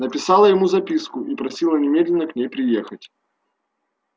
написала ему записку и просила немедленно к ней приехать